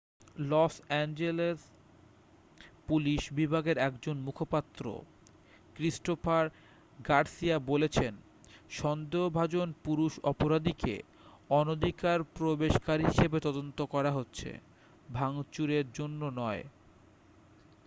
loss Angeles police বিভাগের একজন মুখপাত্র ক্রিস্টোফার গার্সিয়া বলেছেন সন্দেহভাজন পুরুষ অপরাধীকে অনধিকারপ্রবেশকারী হিসেবে তদন্ত করা হচ্ছে ভাঙচুরের জন্য নয়